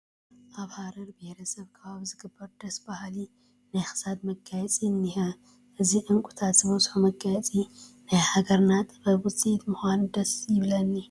ኣብ ሃረሪ ብሄረሰብ ከባቢ ዝግበር ደስ በሃሊ ናይ ክሳድ መጋየፂ እኒሀ፡፡ እዚ ዕንቒታት ዝበዝሖ መጋየፂ ናይ ሃገርና ጥበብ ውፅኢት ምዃኑ ደስ ይብለኒ፡፡